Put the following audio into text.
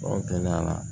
gɛlɛya